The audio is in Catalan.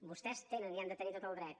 vostès tenen i han de tenir tot el dret